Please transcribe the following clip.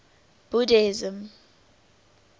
buddhism